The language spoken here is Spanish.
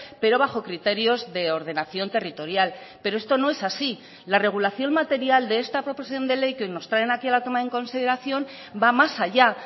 pero bajo criterios de ordenación territorial pero esto no es así la regulación material de esta proposición de ley que nos traen aquí a la toma en consideración va más allá